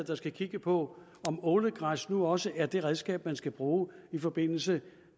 der skal kigge på om ålegræs nu også er det redskab man skal bruge i forbindelse